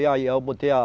Aí eu botei a...